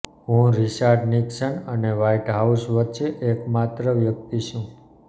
હું Richard Nixon અને White House વચ્ચે એકમાત્ર વ્યક્તિ છું